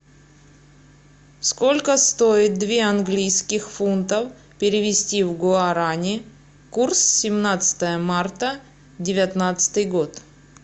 сколько стоит две английских фунтов перевести в гуарани курс семнадцатое марта девятнадцатый год